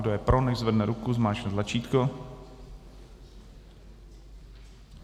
Kdo je pro, nechť zvedne ruku, zmáčkne tlačítko.